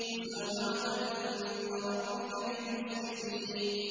مُّسَوَّمَةً عِندَ رَبِّكَ لِلْمُسْرِفِينَ